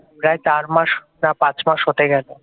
প্রায় চার মাস বা পাঁচ মাস হতে গেল